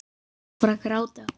Hún fór að gráta.